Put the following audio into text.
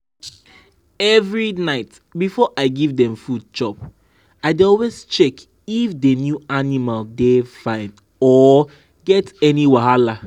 every night before i give dem food chop i dey always check if the new animal dey fine or get any wahala.